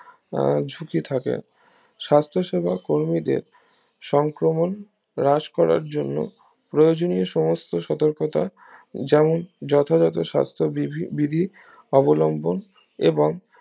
আহ সূচি থাকে স্বাস্থসেবা কর্মীদের সংক্রমণ রাশ করার জন্য প্রয়োজনীয় সমস্ত সতর্কতা যেমন যথাযত সাস্থ বিধি বিধি অবলম্বন এবং